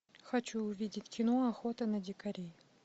хочу увидеть кино охота на дикарей